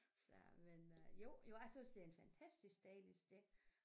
Svært men øh jo jo jeg tøs det er en fantastisk dejlig sted